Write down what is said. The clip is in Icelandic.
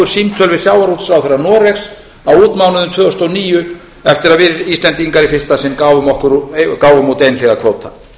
símtöl við sjávarútvegsráðherra noregs á útmánuðum tvö þúsund og níu eftir að við íslendingar í fyrsta sinn gáfum út einhliða kvóta